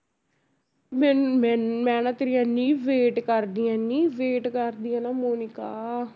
ਮੈਂ ਮੈਂ, ਮੈਂ ਨਾ ਤੇਰੀ ਇੰਨੀ wait ਕਰਦੀ ਹਾਂ ਇੰਨੀ wait ਕਰਦੀ ਹਾਂ ਨਾ ਮੋਨਿਕਾ।